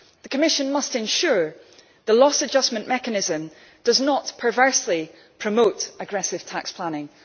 The Commission must ensure the loss adjustment mechanism does not perversely promote aggressive tax planning.